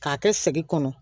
K'a kɛ segi kɔnɔ